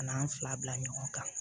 An n'an fila bila ɲɔgɔn kan